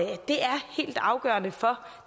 det er helt afgørende for